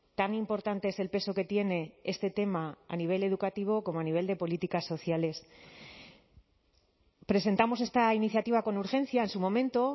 tan importante es el peso que tiene este tema a nivel educativo como a nivel de políticas sociales presentamos esta iniciativa con urgencia en su momento